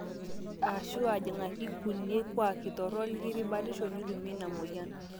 aashu aajingaki irkulie kuuaki torok lekipik batisho nitumie ina mweyian